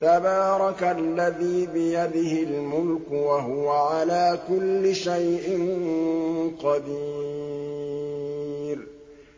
تَبَارَكَ الَّذِي بِيَدِهِ الْمُلْكُ وَهُوَ عَلَىٰ كُلِّ شَيْءٍ قَدِيرٌ